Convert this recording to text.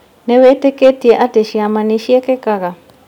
Nĩwĩtĩkĩtie atĩ ciama nĩciĩkĩkaga